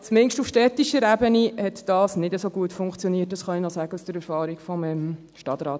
Zumindest auf städtischer Ebene hat das nicht so gut funktioniert, das kann ich noch sagen aus der Erfahrung vom Stadtrat.